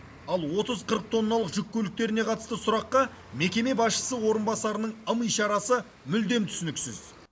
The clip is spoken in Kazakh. ал отыз қырық тонналық жүк көліктеріне қатысты сұраққа мекеме басшысы орынбасараның ым ишарасы мүлдем түсініксіз